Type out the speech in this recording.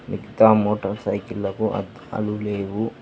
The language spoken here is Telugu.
మిగతా మోటార్ సైకిళ్ళకు అద్దాలు లేవు.